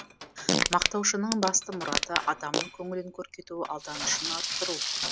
мақтаушының басты мұраты адамның көңілін көркейту алданышын арттыру